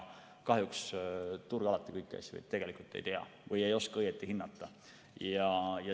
Kahjuks turg alati kõiki asju ei tea või ei oska õieti hinnata.